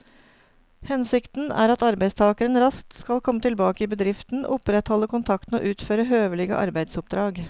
Hensikten er at arbeidstakeren raskt skal komme tilbake i bedriften, opprettholde kontakten og utføre høvelige arbeidsoppdrag.